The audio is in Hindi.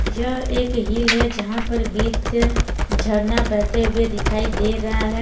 यह एक हिल है जहां पर बीच से झरना बहते हुए दिखाई दे रहा है।